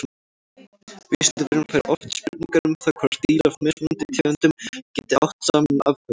Vísindavefurinn fær oft spurningar um það hvort dýr af mismunandi tegundum geti átt saman afkvæmi.